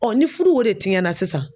ni fudu o de tiɲɛna sisan.